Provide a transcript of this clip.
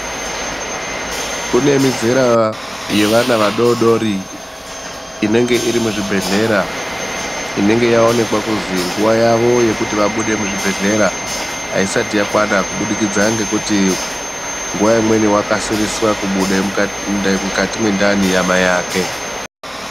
Kune muzera yevana vadodori inenge iri muzvibhehlera inenge yaonekwa kunzwi nguva yavo yekuti vabude muzvibhehlera aisati yakwana kubudikidza ngekuti nguva imweni wkasirise kubuda mukati mwendani yamaiake.